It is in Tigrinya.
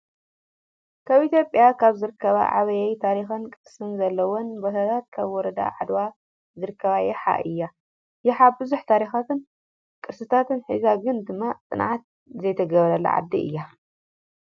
ካብ ኢትዮጰያ ካብ ዝርከባ ዓብይ ታሪኽን ቅርስን ዘለወን ቦታታት ኣብ ወረዳ ዓድዋ ዝርከብ ያሓ እዩ። ያሓ ብዙሕ ታሪካትን ቅርስታት ሒዛ ግን ድማ ፅንዓት ዘይተገበረላ ዓዲ እያ።